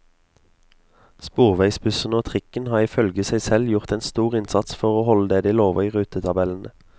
Sporveisbussene og trikken har ifølge seg selv gjort en stor innsats for å holde det de lover i rutetabellene.